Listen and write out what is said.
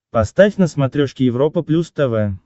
поставь на смотрешке европа плюс тв